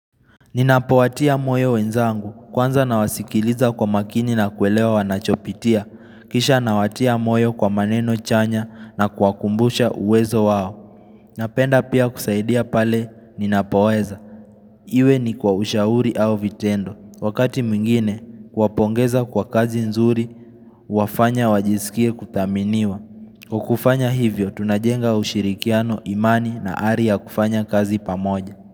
Ninapowatia moyo wenzangu, kwanza nawasikiliza kwa makini na kuelewa wanachopitia, kisha nawatia moyo kwa maneno chanya na kuwakumbusha uwezo wao. Napenda pia kusaidia pale ninapoweza. Iwe ni kwa ushauri au vitendo. Wakati mwingine, kuwapongeza kwa kazi nzuri, huwafanya wajisikie kuthaminiwa. Kwa kufanya hivyo, tunajenga ushirikiano imani na ari ya kufanya kazi pamoja.